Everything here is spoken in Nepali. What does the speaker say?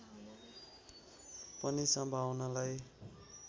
पनि सम्भावनालाई